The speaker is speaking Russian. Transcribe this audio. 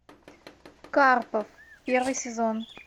карпов первый сезон